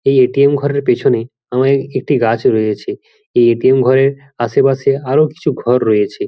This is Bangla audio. এই এ.টি.এম. ঘরের পেছনে আমের একটি গাছ রয়েছে এই এ.টি.এম. ঘরের আশেপাশে আরো কিছু ঘর রয়েছে।